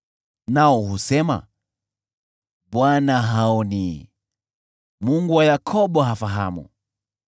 Nao husema, “ Bwana haoni, Mungu wa Yakobo hafahamu.”